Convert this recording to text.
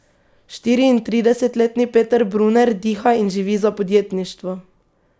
Štiriintridesetletni Peter Bruner diha in živi za podjetništvo.